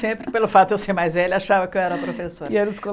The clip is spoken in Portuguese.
Sempre, pelo fato de eu ser mais velha, achava que eu era a professora. E eles